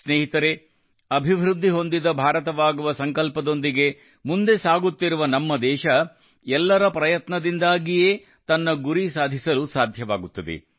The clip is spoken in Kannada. ಸ್ನೇಹಿತರೇ ಅಭಿವೃದ್ಧಿಹೊಂದಿದ ಭಾರತವಾಗುವ ಸಂಕಲ್ಪದೊಂದಿಗೆ ಮುಂದೆ ಸಾಗುತ್ತಿರುವ ನಮ್ಮ ದೇಶ ಎಲ್ಲರ ಪ್ರಯತ್ನದಿಂದಾಗಿಯೇ ತನ್ನ ಗುರಿ ಸಾಧಿಸಲು ಸಾಧ್ಯವಾಗುತ್ತದೆ